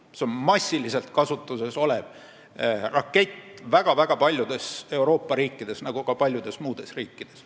See on massiliselt kasutuses väga-väga paljudes Euroopa riikides ja ka paljudes muudes riikides.